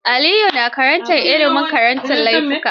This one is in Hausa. Aliyu na karantar Ilimin karantar laifuka.